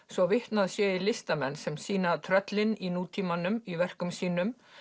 svo vitnað sé í listamenn sem sýna tröllin í nútímanum í verkum sínum